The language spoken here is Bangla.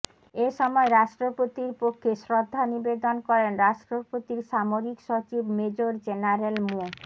এ সময় রাষ্ট্রপতির পক্ষে শ্রদ্ধা নিবেদন করেন রাষ্ট্রপতির সামরিক সচিব মেজর জেনারেল মো